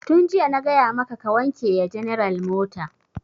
Tun jiya na gaya maka ka wanke ya general mota!